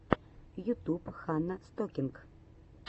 ютуб ханна стокинг